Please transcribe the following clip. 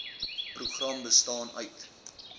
program bestaan uit